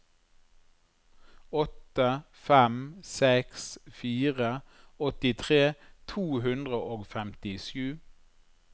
åtte fem seks fire åttitre to hundre og femtisju